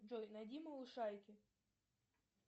джой найди малышарики